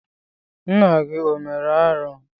Nna gị o mere arụ?